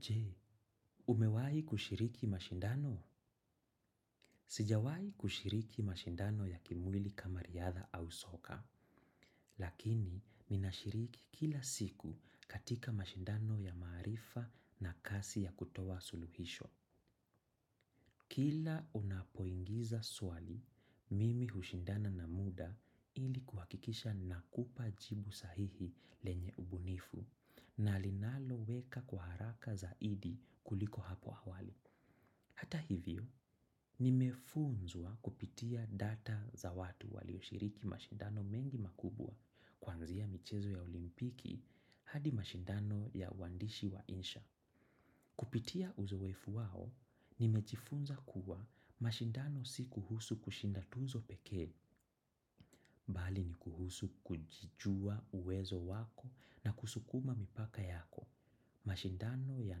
Je, umewahi kushiriki mashindano? Sijawahi kushiriki mashindano ya kimwili kama riadha au soka, lakini niinashiriki kila siku katika mashindano ya maarifa na kasi ya kutoa suluhisho. Kila unapoingiza swali, mimi hushindana na muda ili kuhakikisha nakupa jibu sahihi lenye ubunifu na linaloeleweka kwa haraka zaidi kuliko hapo awali. Hata hivyo, nimefunzwa kupitia data za watu walioshiriki mashindano mengi makubwa kwanzia michezo ya olimpiki hadi mashindano ya uandishi wa insha. Kupitia uzoefu wao, nimejifunza kuwa mashindano si kuhusu kushinda tuzo pekee, bali ni kuhusu kujijua uwezo wako na kusukuma mipaka yako. Mashindano ya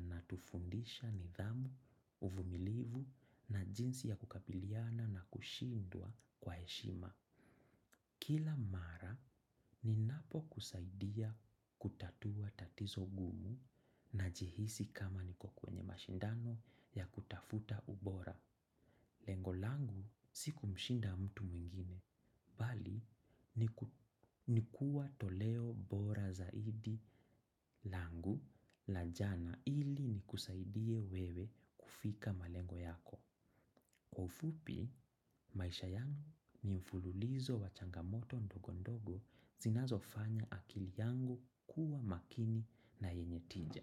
natufundisha nidhamu, uvumilivu na jinsi ya kukabiliana na kushindwa kwa heshima. Kila mara ni napo kusaidia kutatua tatizo gumu najihisi kama niko kwenye mashindano ya kutafuta ubora. Lengo langu siku mshinda mtu mwingine, bali ni kuwa toleo bora zaidi langu la jana ili ni kusaidie wewe kufika malengo yako. Kwa ufupi, maisha yangu ni mfululizo wa changa moto ndogo ndogo zinazo fanya akili yangu kuwa makini na yenye tija.